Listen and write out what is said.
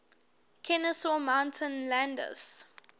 kenesaw mountain landis